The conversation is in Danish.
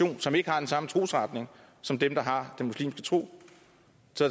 som ikke har den samme trosretning som dem der har den muslimske tro